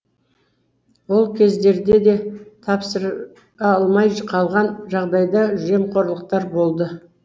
ол кездерде де тапсыра алмай қалған жағдайда жемқорлықтар болды